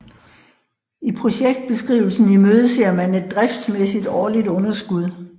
I projektbeskrivelsen imødeser man et driftsmæssigt årligt underskud